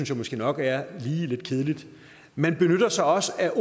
jeg måske nok er lidt kedeligt man benytter sig også af